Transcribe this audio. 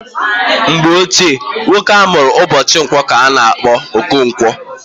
Mgbe gboo, nwoke a mụrụ ụbọchị nkwọ ka a na-akpọ Okonkwo.